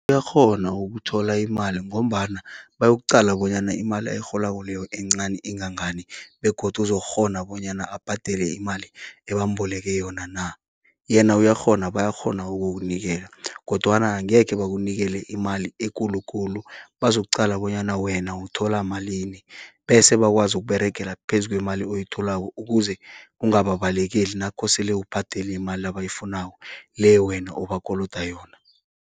Uyakghona ukuthola imali, ngombana bayokuqala bonyana imali ayirholako leyo encani ingangani. Begodu uzokghona bonyana abhadele imali ebamboleke yona na. Yena uyakghona, bayakghona ukukunikela, kodwana angekhe bakunikele imali ekulukulu. Bazokuqala bonyana wena uthola malini, bese bakwazi ukuberegela phezu kwemali oyitholako. Ukuze ungababalekeli nakosele ubhadele imali abayifunako, le wena obakoloda yona.